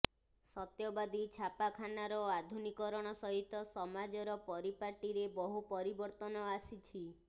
ସତ୍ୟବାଦୀ ଛାପାଖାନାର ଆଧୁନିକୀକରଣ ସହିତ ସମାଜର ପରିପାଟୀରେ ବହୁ ପରିବର୍ତ୍ତନ ଆସିଛି